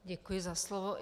Děkuji za slovo.